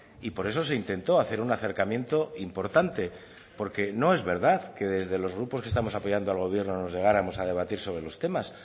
y por eso se intentó hacer un acercamiento importante porque no es verdad que desde los grupos que estamos apoyando al gobierno nos negáramos a debatir sobre los temas